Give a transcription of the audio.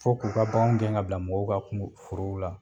Fo k'u ka bakanw gɛn ka bila mɔgɔw ka kun forow la.